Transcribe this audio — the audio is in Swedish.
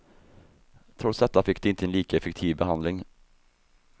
Trots detta fick de inte lika effektiv behandling.